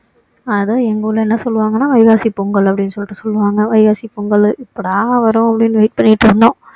அதை எங்க ஊருல என்ன சொல்லுவாங்கன்னா வைகாசி பொங்கல் அப்படின்னு சொல்லிட்டு சொல்லுவாங்க வைகாசி பொங்கலு எப்போடா வரும் அப்படின்னு wait பண்ணிட்டு இருந்தோம்